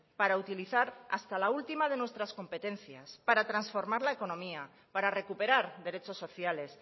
para utilizar hasta la última de nuestras competencias para transformar la economía para recuperar derechos sociales